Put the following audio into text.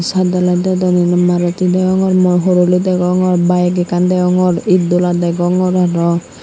saat dalai dedon indi maruti degongor mo horoli degongor bayek ekkan degongor itdola degongor aro.